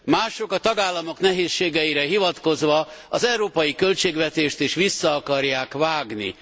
Mások a tagállamok nehézségeire hivatkozva az európai költségvetést is vissza akarják vágni.